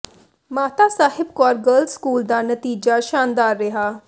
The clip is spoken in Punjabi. ਮਾਤਾ ਸਾਹਿਬ ਕੌਰ ਗਰਲਜ਼ ਸਕੂਲ ਦਾ ਨਤੀਜਾ ਸ਼ਾਨਦਾਰ ਰਿਹਾ